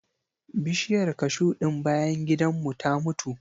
Bishiyar kashu ɗin bayan gidan mu ta mutu.